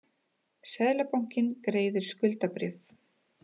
Seðlabankinn greiðir skuldabréf